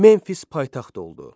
Memfis paytaxt oldu.